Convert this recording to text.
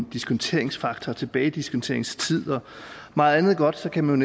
diskonteringsfaktor tilbagediskonteringstid og meget andet godt kan man